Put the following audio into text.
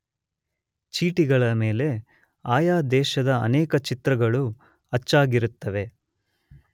ಚೀಟಿಗಳ ಮೇಲೆ ಆಯಾ ದೇಶದ ಅನೇಕ ಚಿತ್ರಗಳು ಅಚ್ಚಾಗಿರುತ್ತವೆ.